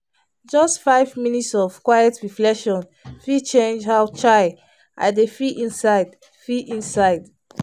just five minutes of quiet reflection fit change how chai! i dey feel inside. feel inside.